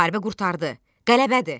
Müharibə qurtardı, qələbədir.